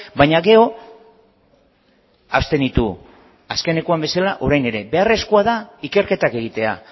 baina gero abstenitu azkenekoan bezala orain ere beharrezkoa da ikerketak egitea